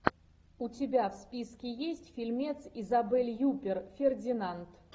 у тебя в списке есть фильмец изабель юппер фердинанд